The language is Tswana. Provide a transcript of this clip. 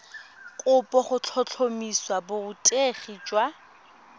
kopo go tlhotlhomisa borutegi jwa